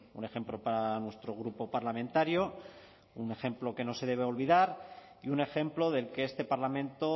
un ejemplo para nuestro grupo parlamentario un ejemplo que no se debe olvidar y un ejemplo del que este parlamento